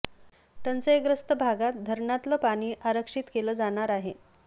टंचाईग्रस्त भागात धरणातलं पाणी आरक्षित केलं जाणार आहे